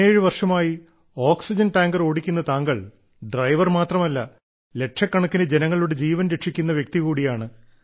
17 വർഷമായി oxygen tanker ഓടിക്കുന്ന താങ്കൾ ഡ്രൈവർ മാത്രമല്ല ലക്ഷക്കണക്കിന് ജനങ്ങളുടെ ജീവൻ രക്ഷിക്കുന്ന വ്യക്തി കൂടിയാണ്